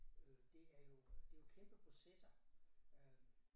Øh det er jo det kæmpe processer øh